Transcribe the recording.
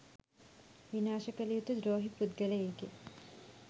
විනාශ කල යුතු ද්‍රෝහී පුද්ගලයෙකි.